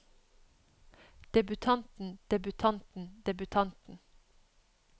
debutanten debutanten debutanten